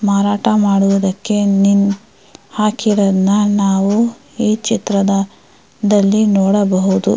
ಮಾರಾಟ ಮಾಡುದಕ್ಕೆ ಹಾಕಿರೋದನ್ನ ಈ ಚಿತ್ರದಲ್ಲಿ ನೋಡಬಹುದು.